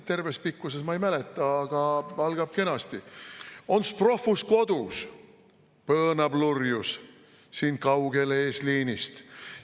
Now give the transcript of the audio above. Terves pikkuses ma ei mäleta, aga algab kenasti, et on's prohvus kodus, põõnab lurjus, siin kaugel eesliinist.